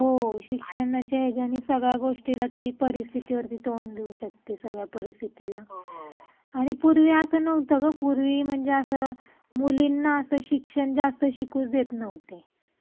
हो शिक्षणाच्या याचयनी सगळ्या गोष्टीला ती परिस्थितीवरती तोंड देऊ शकते सगळ्या परिस्थितीला. पूर्वी म्हणजे नव्हता ग पूर्वी म्हणजे असं मुलींना असं शिक्षण जास्त शिकू देत नव्हते.